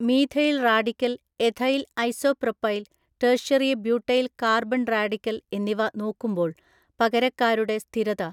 Methyl radical ethyl isopropyl tertiary butyl carbon radical എന്നിവ നോക്കുമ്പോൾ പകരക്കാരുടെ സ്ഥിരത.